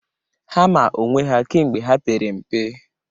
Ha maa onwe ha kemgbe ha pere mpe.